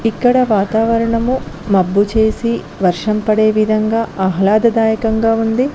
ఇక్కడ వాతావరణము మబ్బు చేసి వర్షం పడే విధంగా ఆహ్లాద దాయకంగా ఉంది.